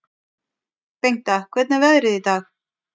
Bengta, hvernig er veðrið í dag?